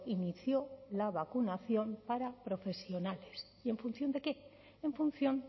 inició la vacunación para profesionales y en función de qué en función